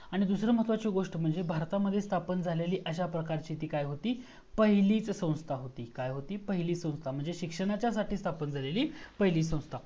आणी दुसरी महत्वाची गोष्ट म्हणजे भारतामध्ये स्थापन झालेली अश्या प्रकारची ती काय होती? पहिलीच संस्था होती. काय होती, पहिली संस्था. म्हणजे शिक्षणासाठी स्थापन झालेली पहिली संस्था होती.